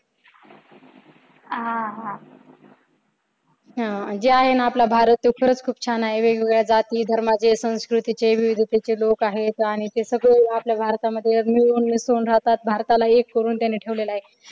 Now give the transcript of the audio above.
अह आह जे आहे ना आपला भारत तो खरच खूप छान आहे विविध जाती धर्माचे संस्कृतीचे विविधतेचे लोक आहेत आणि ते सगळे आपल्या भारतामध्ये मिळून मिसळून राहतात भारताला एक करून त्यांनी ठेवलेलं आहे.